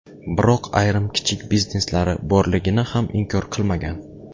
Biroq ayrim kichik bizneslari borligini ham inkor qilmagan.